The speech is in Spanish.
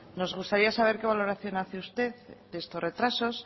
nos gustaría saber qué valoración hace usted de estos retrasos